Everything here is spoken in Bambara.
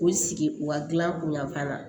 K'u sigi u ka gilan kun yanfan na